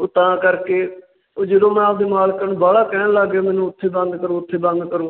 ਉਹ ਤਾਂ ਕਰਕੇ ਜਦੋ ਮੈਂ ਆਪਣੇ ਮਾਲਕਾਂ ਨੂੰ ਬਾਹਲਾ ਕਹਿਣ ਲੱਗ ਪਿਆ। ਮੈਨੂੰ ਉੱਥੇ Done ਕਰੋ ਉੱਥੇ Done ਕਰੋ।